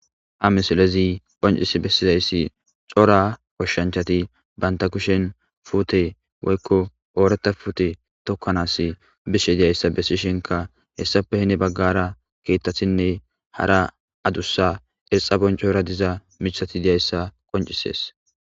Ha misilezi qonc'isi beseza c'ora goshanchati banta kushen putte oykidi woyko oratha putte tookanas bishe dizaysa besisheinka des hessappe heni bagara kethatinne hara adusa xesa bonc'ora diza mithati dizaysa qonc'ises.